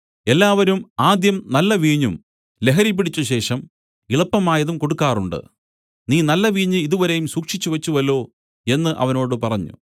എല്ലാവരും ആദ്യം നല്ല വീഞ്ഞും ലഹരി പിടിച്ചശേഷം ഇളപ്പമായതും കൊടുക്കാറുണ്ട് നീ നല്ല വീഞ്ഞ് ഇതുവരെയും സൂക്ഷിച്ചുവെച്ചുവല്ലോ എന്നു അവനോട് പറഞ്ഞു